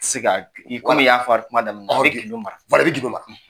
I te se ka , komi i y'a fɔ an ka kuma daminɛ na, i bɛ gindo mara. i bɛ gindo mara.